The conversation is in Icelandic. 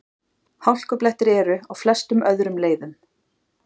Hálkublettir eru á flestum öðrum leiðum